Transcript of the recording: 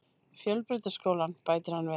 Fjölbrautaskólann, bætir hann við.